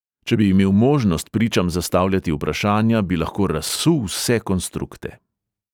Če bi imel možnost pričam zastavljati vprašanja, bi lahko razsul vse konstrukte.